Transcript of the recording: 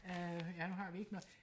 øh ja nu har vi ikke noget